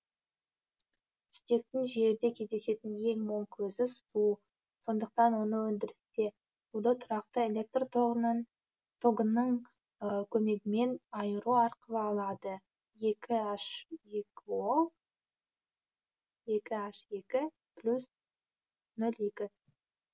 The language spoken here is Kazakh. сутектің жерде кездесетін ең мол көзі су сондықтан оны өндірісте суды тұрақты электр тогының көмегімен айыру арқылы алады екі н ек о екі н екі плюс нөл екі